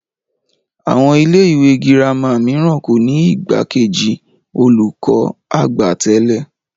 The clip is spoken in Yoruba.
Àwọn ilé ìwé girama mìíràn kò ní igbakeji olùkọ́-àgbà tẹ́lẹ̀